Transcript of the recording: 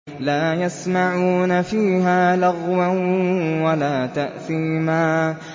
لَا يَسْمَعُونَ فِيهَا لَغْوًا وَلَا تَأْثِيمًا